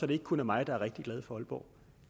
det ikke kun er mig der er rigtig glad for aalborg